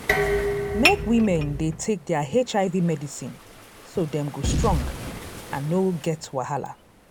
make women dey take their hiv medicine so dem go strong and no get wahala